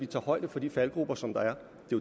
tager højde for de faldgruber som der er